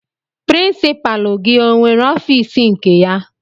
Pirinsipalu gị o nwere ọfiisi nke ya?